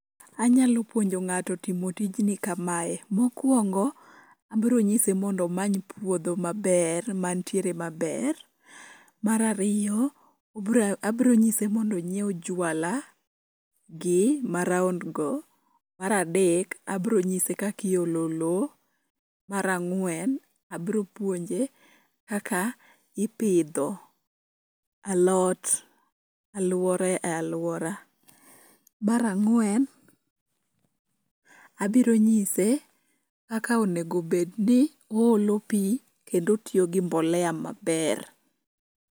Anyalo puonjo ng'ato timo tijni kamae, mokuongo, abronyise mondo omany puodho maber mantiere maber. Mar ariyo, obra abro nyise mondo ong'iew juala, gi ma round go. mar adek, abronyise kak iolo loo, mar ang'wen abropuonje kaka, ipidho alot, aluore e aluora. mar ang'wen abiro nyise kaka onego bed ni oolo pii kendo otiyo gi mbolea maber